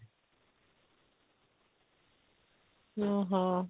ଓଃ ହୋ